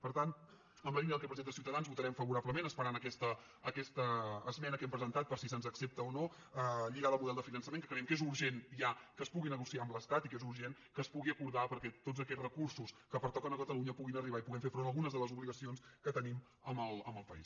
per tant en la línia del que presenta ciutadans vota·rem favorablement esperant aquesta esmena que hem presentat per si se’ns accepta o no lligada al model de finançament que creiem que és urgent ja que es pugui negociar amb l’estat i que és urgent que es pu·gui acordar perquè tots aquests recursos que perto·quen a catalunya puguin arribar i puguem fer front a algunes de les obligacions que tenim amb el país